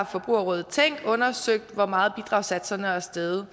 forbrugerrådet tænk har undersøgt hvor meget bidragssatserne er steget